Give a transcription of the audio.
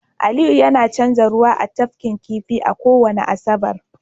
aliyu yana canza ruwa a tafkin kifi a kowace Asabar